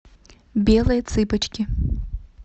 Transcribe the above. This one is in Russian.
белые цыпочки